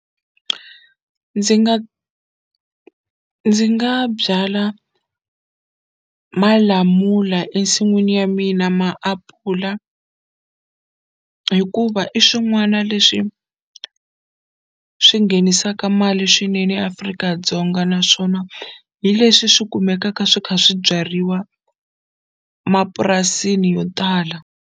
Ndzi nga ndzi nga byala malamula ensin'wini ya mina maapula hikuva i swin'wana leswi swi nghenisaka mali swineneAfrika-Dzonga naswona hi leswi swi kumekaka swi kha swi byariwa mapurasini yo tala.